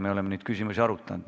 Me oleme neid küsimusi arutanud.